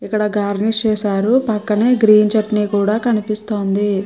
ఇక్కడ గార్నిష్ చేసారు. పక్కనే గ్రీన్ చట్నీ కూడా కనిపిస్తుంది.